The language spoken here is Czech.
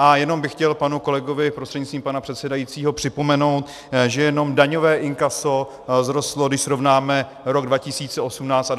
A jenom bych chtěl panu kolegovi prostřednictvím pana předsedajícího připomenout, že jenom daňové inkaso vzrostlo, když srovnáme rok 2018 a 2017, o více než 130 miliard korun.